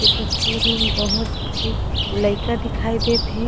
इ तस्वीर मा बोहत झी लइका दिखाई देत हे।